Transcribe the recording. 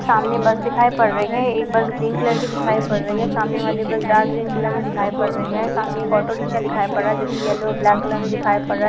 --सामने बस दिखाई पड़ रही है एक बस ग्रीन कलर की दिखाई पड़ रही है सामने वाली बस डार्क ग्रीन कलर में दिखाई पड़ रही है सामने एक ऑटो रिक्शा दिखाई पड़ रहा है जो कि येलो और ब्लैक कलर में दिखाई पड़ रहा है।